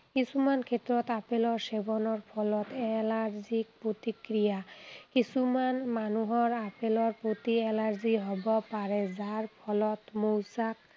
কিছুমান ক্ষেত্ৰত আপেলৰ সেৱনৰ ফলত Allergic প্ৰতিক্ৰিয়া, কিছুমান মানুহৰ আপেলৰ প্ৰতি Allergy হব পাৰে, যাৰ ফলত মৌচাক